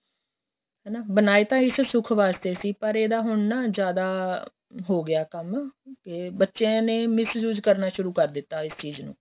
ਹੈਨਾ ਬਣਾਏ ਤਾਂ ਇਸ ਸੁੱਖ ਵਾਸਤੇ ਸੀ ਪਰ ਇਹਦਾ ਹੁਣ ਨਾ ਜਿਆਦਾ ਹੋ ਗਿਆ ਕੰਮ ਕੇ ਬੱਚਿਆਂ ਨੇ miss use ਕਰਨਾ ਸ਼ੁਰੂ ਕਰ ਦਿੱਤਾ ਇਸ ਚੀਜ ਨੂੰ